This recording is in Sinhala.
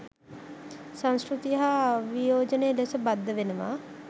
සංස්කෘතිය හා අවියෝජනීය ලෙස බද්ධ වෙනවා.